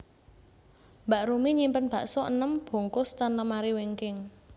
Mbak Rumi nyimpen bakso enem bungkus ten lemari wingking